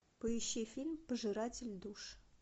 поищи фильм пожиратель душ